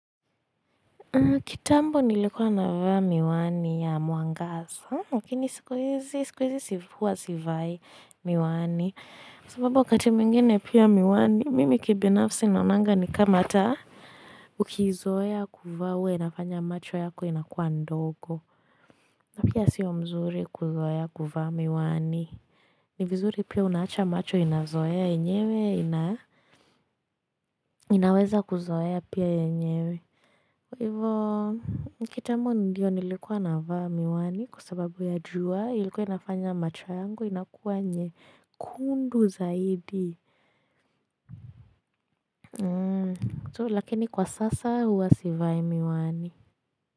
Kitambo nilikuwa navaa miwani ya mwangaza Lakini siku hizi siku hizi huwasivai miwani. Kwa sababu wakati mwingine pia miwani, mimi kibinafsi naonanga ni kama taa. Ukiizoea kuvaa huwa inafanya macho yako inakuwa ndogo. Na pia sio mzuri kuzoea kuvaa miwani. Ni vizuri pia unaacha macho inazoea yenyewe. Ina inaweza kuzoea pia yenyewe. Hivo, kitambo ndiyo nilikuwa navaa miwani kwa sababu ya jua ilikuwa inafanya macho yangu inakuwa nyekundu zaidi. Lakini kwa sasa huwa sivai miwani.